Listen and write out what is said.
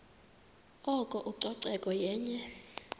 oko ucoceko yenye